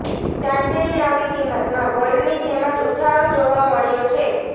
ચાંદીની નવી કિંમતમાં ગોલ્ડની જેમ જ ઉછાળો જોવા મળ્યો છે